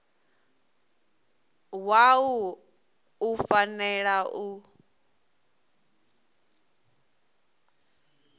wa wua u fanela u